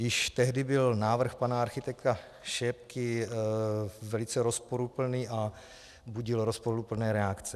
Již tehdy byl návrh pana architekta Šépky velice rozporuplný a budil rozporuplné reakce.